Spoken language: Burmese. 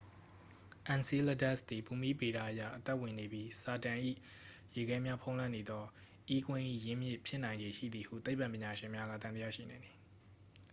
enceladus သည်ဘူမိဗေဒအရ အသက်ဝင်နေပြီး saturn ၏ ရေခဲများဖုံးလွှမ်းနေသော e ကွင်း၏ရင်းမြစ် ဖြစ်နိုင်ခြေရှိသည်ဟု သိပ္ပံပညာရှင်များက သံသယရှိနေသည်